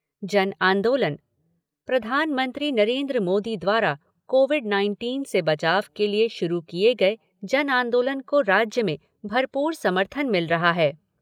जन आंदोलन प्रधानमंत्री नरेंद्र मोदी द्वारा कोविड नाइनटीन से बचाव के लिए शुरू किए गए जन आंदोलन को राज्य में भरपूर समर्थन मिल रहा है।